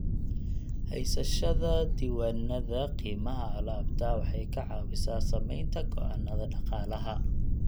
Haysashada diiwaannada qiimaha alaabta waxay ka caawisaa samaynta go'aannada dhaqaalaha.